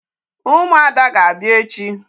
Ụmụada ga-abịa echi.